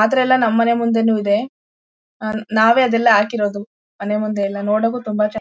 ಆದ್ರೆ ಎಲ್ಲಾ ನಮ್ ಮನೆ ಮುಂದೇನು ಇದೆ ನಾವೇ ಅದೆಲ್ಲ ಹಾಕಿರೋದುಮನೆ ಮುಂದೆ ಎಲ್ಲಾ ನೋಡೋಕು ತುಂಬಾ ಚೆನ್ನಾಗಿ-